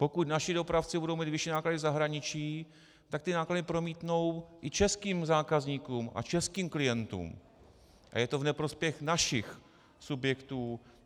Pokud naši dopravci budou mít vyšší náklady v zahraničí, tak ty náklady promítnou i českým zákazníkům a českým klientům a je to v neprospěch našich subjektů.